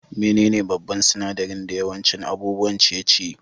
Menene babban sinadari na yawancin abubuwan ciye-ciye?